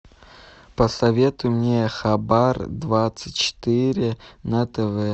посоветуй мне хабар двадцать четыре на тв